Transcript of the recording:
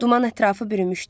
Duman ətrafı bürümüşdü.